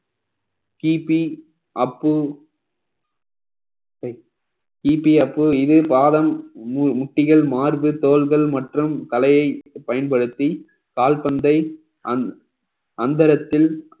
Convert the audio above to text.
கிபி uppy keepy uppy இது பாதம் மு~ முட்டிகள் மார்பு தோள்கள் மற்றும் தலையை பயன்படுத்தி கால்பந்தை அந்~ அந்தரத்தில்